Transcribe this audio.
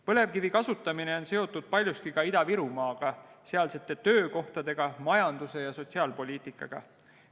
Põlevkivi kasutamine on seotud paljuski ka Ida-Virumaaga, sealsete töökohtade, majanduse ja sotsiaalpoliitikaga.